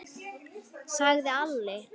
sagði Alli.